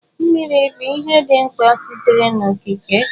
Mmiri bụ ihe dị mkpa sitere n'okike.